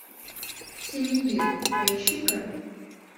синевир поищи ка